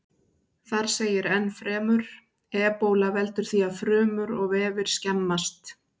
Þar segir ennfremur: Ebóla veldur því að frumur og vefir skemmast.